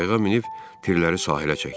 Qayıqə minib tirləri sahilə çəkdik.